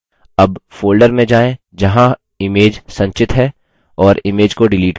अब folder में जाएँ जहाँ image संचित है और image को डिलीट करें